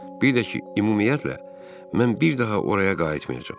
Bir də ki, ümumiyyətlə, mən bir daha oraya qayıtmayacağam.